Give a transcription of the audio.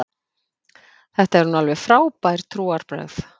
Þetta eru nú alveg frábær trúarbrögð.